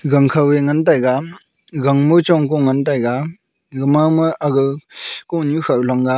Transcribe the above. gang khao le ngan taiga gang ngo hong ko ngan taiga ega mama agao konu khao long gao.